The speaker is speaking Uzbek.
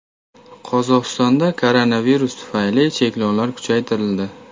Qozog‘istonda koronavirus tufayli cheklovlar kuchaytirildi.